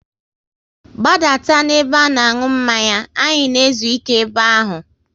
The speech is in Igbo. Gbadata n'ebe a na aṅụ mmanya! Anyị na ezuike ebe ahụ